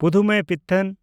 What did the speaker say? ᱯᱩᱫᱷᱩᱢᱮᱭᱯᱤᱛᱷᱚᱱ